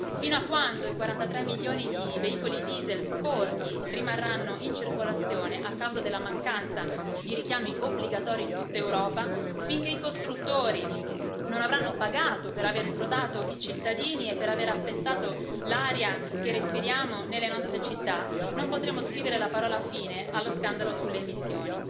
Fino a quando i 43 milioni di veicoli diesel sporchi rimarranno in circolazione a causa della mancanza di richiami obbligatori in tutta Europa, finché i costruttori non avranno pagato per aver frodato i cittadini e per aver appestato l'aria che respiriamo nelle nostre città, non potremo scrivere la parola fine allo scandalo sulle emissioni.